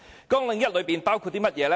綱領1包括甚麼呢？